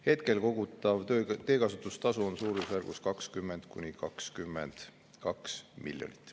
Hetkel kogutav teekasutustasu on suurusjärgus 20–22 miljonit.